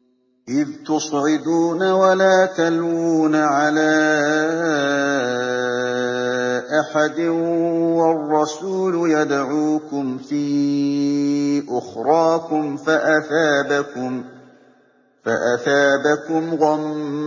۞ إِذْ تُصْعِدُونَ وَلَا تَلْوُونَ عَلَىٰ أَحَدٍ وَالرَّسُولُ يَدْعُوكُمْ فِي أُخْرَاكُمْ فَأَثَابَكُمْ غَمًّا